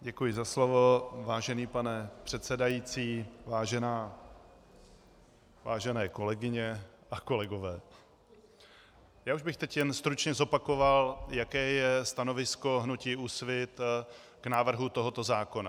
Děkuji za slovo, vážený pane předsedající, vážené kolegyně a kolegové, já už bych teď jen stručně zopakoval, jaké je stanovisko hnutí Úsvit k návrhu tohoto zákona.